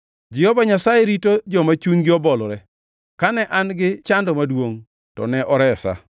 Jehova Nyasaye rito joma chunygi obolore; kane an-gi chando maduongʼ to ne oresa.